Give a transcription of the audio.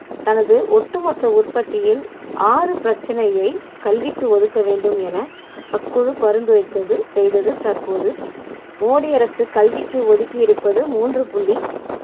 தனது ஒட்டுமொத்த உற்பத்தியில் ஆறு பிரச்சனையை கல்விக்கு ஒதுக்க வேண்டும் என அக்குழு பரிந்துரைத்தது செய்தது தற்போது மோடி அரசு கல்விக்கு ஒதுக்கி இருப்பது மூன்று புள்ளி